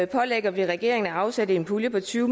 pålægger vi regeringen at afsætte en pulje på tyve